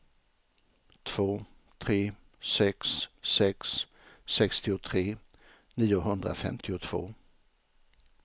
två tre sex sex sextiotre niohundrafemtiotvå